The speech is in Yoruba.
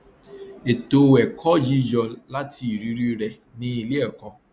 ètò ẹkọ yìí yọ láti irírí rẹ ní iléẹkọ